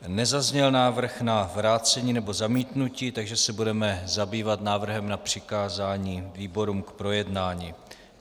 Nezazněl návrh na vrácení nebo zamítnutí, takže se budeme zabývat návrhem na přikázání výborům k projednání.